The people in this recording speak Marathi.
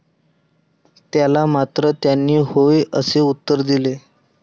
त्याला मात्र त्यांनी होय असे उत्तर दिले.